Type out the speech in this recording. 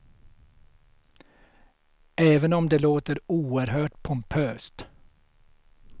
Även om det låter oerhört pompöst.